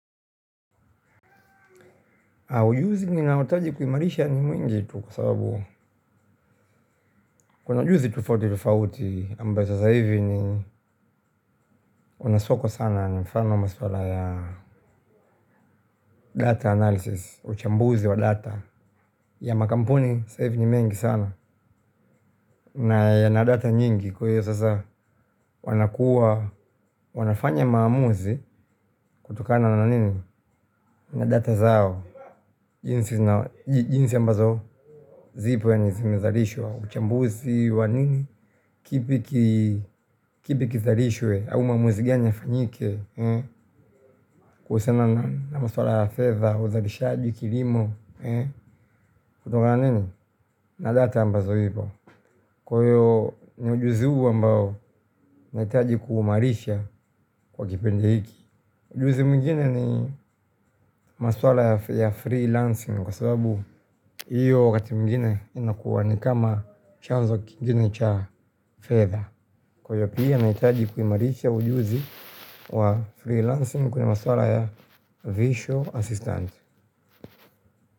Ujuzi ni nao taji kuimarisha ni mwingi tu kwa sababu kuna ujuzi tufauti tufauti. Ambazo sasa hivi ni unaswako sana ni mfano maswala ya data analysis, uchambuzi wa data, ya makampuni sasa hivi ni mengi sana na yana data nyingi. Kwa hiyo sasa wanakua, wanafanya maamuzi, kutokana na nini na data zao, jinsi ambazo zipwe ni zimezarishwa uchambuzi wa nini, kipi kizalishwe au maamuzi gani yafanyike kuhusiana na masuala ya fedha, uzalishaji, kilimo, kutoka na nini? Na data ambazo ipo. Kwa hivyo ni ujuzi huu ambao unahitaji kuimarisha kwa kipindi hiki. Ujuzi mwingine ni masuala ya freelancing kwa sababu hiyo wakati mwingine inakuwa ni kama chanzo kingine cha fedha. Kwa hivyo pia ninahitaji kuimarisha ujuzi wa freelancing kwenye masuala ya visual assistant.